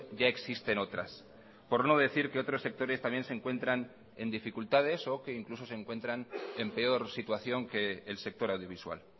ya existen otras por no decir que otros sectores también se encuentran en dificultades o que incluso se encuentran en peor situación que el sector audiovisual